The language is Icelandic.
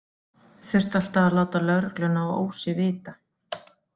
Þurfti alltaf að láta lögregluna á Ósi vita.